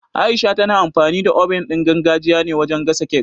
Aisha tana amfani da oven ɗin gargajiya ne wajen gasa cake